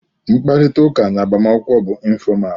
Mkparịtaụka na agbamakwụkwọ bụ ịnfọmal.